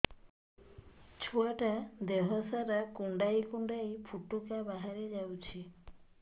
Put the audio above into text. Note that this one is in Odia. ଛୁଆ ଟା ଦେହ ସାରା କୁଣ୍ଡାଇ କୁଣ୍ଡାଇ ପୁଟୁକା ବାହାରି ଯାଉଛି